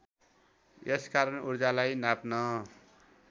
यसकारण ऊर्जालाई नाप्न